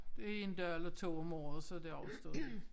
Det én dag eller 2 om året så er det overstået